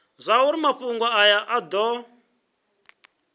zwauri mafhungo aya a do